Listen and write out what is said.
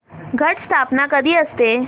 घट स्थापना कधी असते